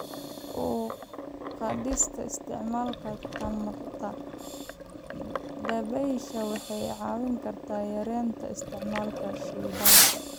Kor u qaadista isticmaalka tamarta dabaysha waxay caawin kartaa yareynta isticmaalka shidaalka.